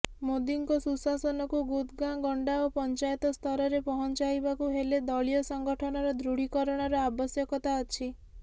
ମୋଦିଙ୍କ ସୁଶାସନକୁ ଗୁଥ୍ ଗାଁ ଗଣ୍ଡା ଓ ପଞ୍ଚାୟତସ୍ତରରେ ପହଞ୍ଚାଇବାକୁ ହେଲେ ଦଳୀୟ ସଂଗଠନର ଦୃଢ଼ୀକରଣର ଆବଶ୍ୟକତା ଅଛି